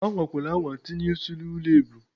Anwakwala anwa tinye ị́sị́ n'ụlọ ebu!